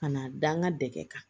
Ka na da n ka dɛgɛ kan